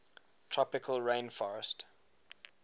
tropical rain forestt